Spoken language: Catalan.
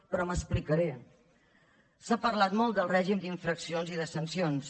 però m’explicaré s’ha parlat molt del règim d’infraccions i de sancions